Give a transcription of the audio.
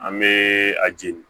An bee a jeli